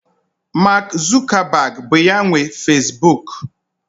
Mark Zuckerberg bụ ya nwe Facebook.